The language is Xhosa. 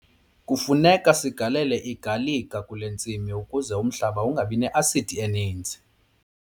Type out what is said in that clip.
Kufuneka sigalele igalika kule ntsimi ukuze umhlaba ungabi ne-asidi eninzi.